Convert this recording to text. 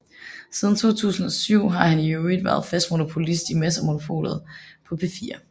Siden 2007 har han i øvrigt været fast monopolist i Mads og Monopolet på P4